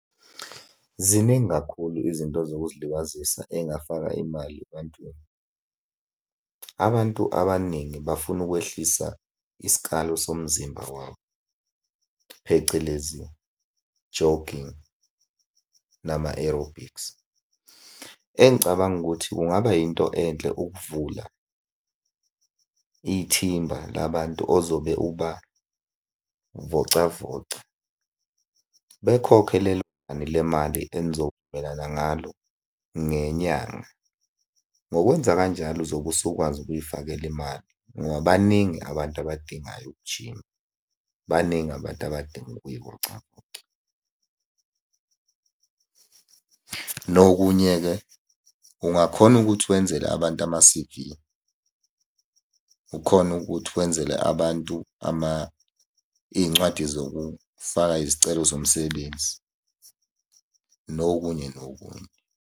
Ziningi kakhulu izinto zokuzilibazisa ey'ngafaka imali ebantwini. Abantu abaningi bafuna ukwehlisa isikalo somzimba wabo, phecelezi jogging nama-aerobics. Engicabanga ukuthi kungaba yinto enhle ukuvula ithimba labantu ozobe ubavocavoca. Bekhokhe lelo nani le mali enizovumelana ngalo ngenyanga. Ngokwenza kanjalo uzobe usukwazi ukuy'fakela imali ngoba baningi abantu abadingayo ukujima, baningi abantu abadinga ukuy'vocavoca. Nokunye-ke ungakhona ukuthi wenzele abantu ama-C_V. Ukhone ukuthi wenzele abantu iy'ncwadi zokufaka izicelo zomsebenzi, nokunye nokunye.